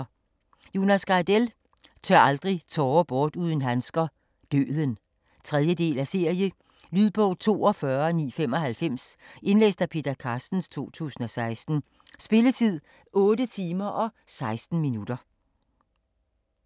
Gardell, Jonas: Tør aldrig tårer bort uden handsker: Døden 3. del af serie. Lydbog 42995 Indlæst af Peter Carstens, 2016. Spilletid: 8 timer, 16 minutter.